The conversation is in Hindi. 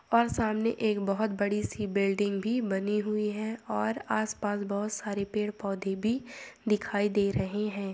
और सामने एक बहुत बड़ी सी बिल्डिंग बनी हुई है|